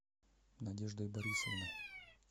надеждой борисовной